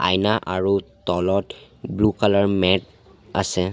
আইনা আৰু তলত ব্লু কালাৰ মেট আছে।